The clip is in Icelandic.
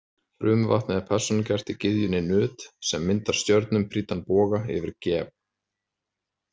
Frumvatnið er persónugert í gyðjunni Nut sem myndar stjörnum prýddan boga yfir Geb.